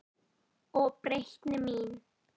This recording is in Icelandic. Og breytni mín.